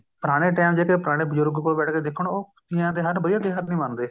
ਪੁਰਾਣੇ time ਜਿਹੜੇ ਪੁਰਾਣੇ ਬਜ਼ੁਰਗ ਕੋਲ ਬੈਠ ਕੇ ਦੇਖੋ ਨਾ ਉਹ ਤੀਆਂ ਦੇ ਤਿਉਹਾਰ ਨੂੰ ਵਧੀਆ ਤਿਉਹਾਰ ਨਹੀਂ ਮੰਨਦੇ